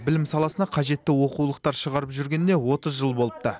білім саласына қажетті оқулықтар шығарып жүргеніне отыз жыл болыпты